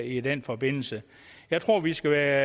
i den forbindelse jeg tror vi skal være